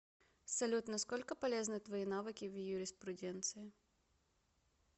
салют на сколько полезны твои навыки в юриспруденции